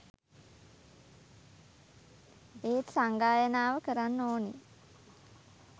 එත් සංගායනාව කරන්න ඕනි